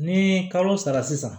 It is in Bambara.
Ni kalo sara sisan